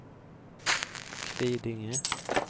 Kvidinge